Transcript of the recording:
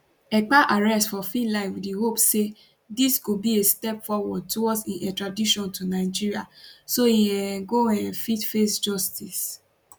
ekpa arrest for finland wit di hope say dis go be a step towards im extradition to nigeria so e um go um fit face justice